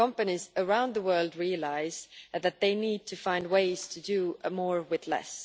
Companies around the world realise that they need to find ways to do more with less.